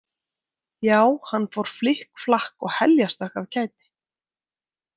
Já, hann fór flikk flakk og heljarstökk af kæti.